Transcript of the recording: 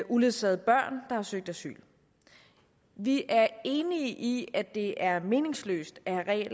uledsagede børn der har søgt asyl vi er enige i at det er meningsløst at